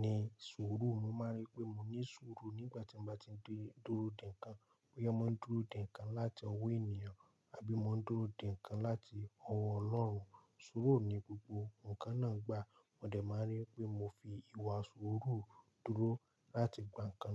ni sùúrù. Mo máa rí pé mò ní sùúrù nígbà tí mo bá ti ń dúró dè ǹkan. Bóyá mo ń dúró dè ǹkan láti ọwọ́ ènìyàn àbí mo ń dúró dè ǹkan láti ọwọ́ Ọlọ́run. Sùúrù ni gbogbo ǹkan náà gbà. Mo dè máa n rí pé mo fi ìwà sùúrù dúró láti gbà ǹkan.